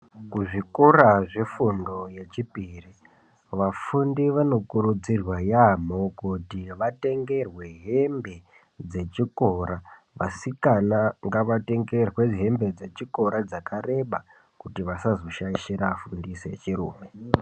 Kuzvikora zvefundo yechipiri vafundi vanokurudzirwa yaamho kuti vatengerwe hembe dzechikora. Vasikana ngavatengerwe hembe dzechikora dzakareba, kuti vasazoshaishira afundisi echirume.